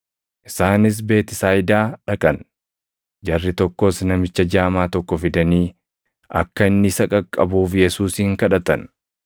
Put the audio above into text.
Isaanis Beetisayidaa dhaqan; jarri tokkos namicha jaamaa tokko fidanii akka inni isa qaqqabuuf Yesuusin kadhatan.